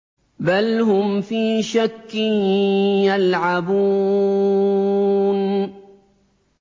بَلْ هُمْ فِي شَكٍّ يَلْعَبُونَ